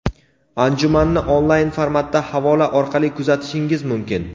Anjumanni onlayn formatda havola orqali kuzatishingiz mumkin.